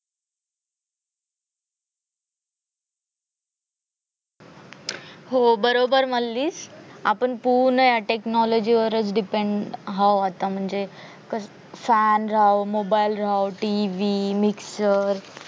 हो बरोबर मानलीस आपण पूर्ण या technology वरच depends हाव आता म्हणजे fan राहो mobile राहो TV mixer